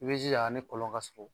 I bɛ jija a ni kɔlɔn ka surun